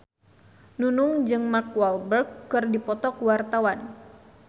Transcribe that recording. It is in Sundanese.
Nunung jeung Mark Walberg keur dipoto ku wartawan